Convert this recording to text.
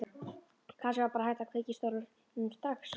Kannski var bara hægt að kveikja í stólnum strax.